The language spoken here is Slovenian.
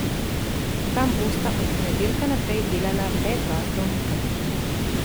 Tam bosta od ponedeljka naprej delala le dva zdravnika.